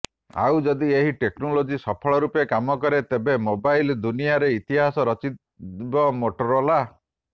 ଆଉ ଯଦି ଏହି ଟେକ୍ନୋଲୋଜି ସଫଳ ରୂପେ କାମ କରେ ତେବେ ମୋବାଇଲ୍ ଦୁନିଆରେ ଇତିହାସ ରଚିବ ମୋଟୋରୋଲା